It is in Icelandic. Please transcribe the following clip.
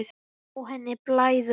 Sjá henni blæða.